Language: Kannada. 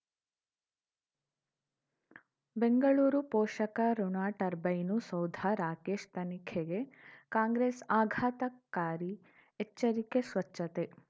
ಬೆಂಗಳೂರು ಪೋಷಕಋಣ ಟರ್ಬೈನು ಸೌಧ ರಾಕೇಶ್ ತನಿಖೆಗೆ ಕಾಂಗ್ರೆಸ್ ಆಘಾತಕಾರಿ ಎಚ್ಚರಿಕೆ ಸ್ವಚ್ಛತೆ